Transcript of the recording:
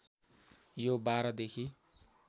यो १२ देखि